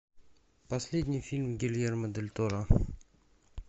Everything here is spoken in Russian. последний фильм гильермо дель торо